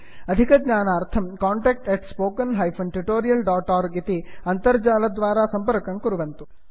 अधिकज्ञानार्थं contact spoken tutorialorg इति अन्तर्जालद्वारा सम्पर्कं कुर्वन्तु